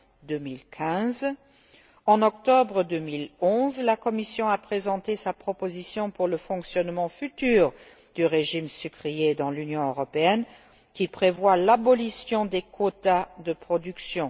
2015. En octobre 2011, la Commission a présenté sa proposition pour le fonctionnement futur du régime sucrier dans l'Union européenne, qui prévoit l'abolition des quotas de production.